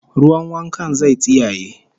Ruwan wankan zai tsiyaye